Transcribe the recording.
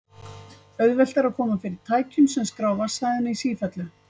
auðvelt er að koma fyrir tækjum sem skrá vatnshæðina í sífellu